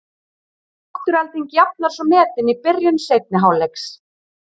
Afturelding jafnar svo metin í byrjun seinni hálfleiks.